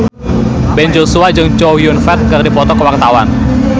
Ben Joshua jeung Chow Yun Fat keur dipoto ku wartawan